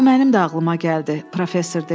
Bu mənim də ağlıma gəldi, professor dedi.